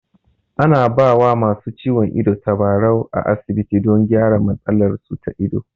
A na ba wa masu ciwon ido tabarau a asibiti don gyara matsalar su ta ido